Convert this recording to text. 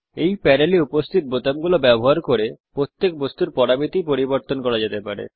এই প্যানেলে উপস্থিত বোতামগুলো ব্যবহার করে প্রত্যেক বস্তুর পরামিতি পরিবর্তন করা যেতে পারে